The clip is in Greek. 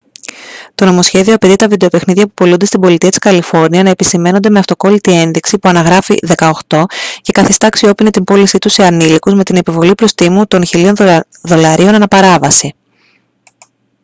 το νομοσχέδιο απαιτεί τα βιντεοπαιχνίδια που πωλούνται στην πολιτεία της καλιφόρνια να επισημαίνονται με αυτοκόλλητη ένδειξη που αναγράφει «18» και καθιστά αξιόποινη την πώλησή τους σε ανηλίκους με την επιβολή προστίμου των 1.000 δολαρίων ανά παράβαση